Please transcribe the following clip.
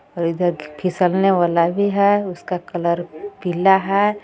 और इधर ख फिसलने वाला भी है उसका कलर पीला हैं.